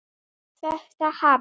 Þetta hafi